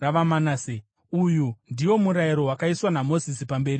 Uyu ndiwo murayiro wakaiswa naMozisi pamberi pavaIsraeri: